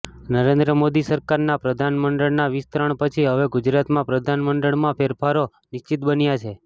નરેન્દ્ર મોદી સરકારના પ્રધાનમંડળના વિસ્તરણ પછી હવે ગુજરાતમાં પ્રધાનમંડળમાં ફેરફારો નિશ્ચિત બન્યા છે